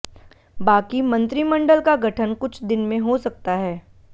बाकी मंत्रिमंडल का गठन कुछ दिन में हो सकता है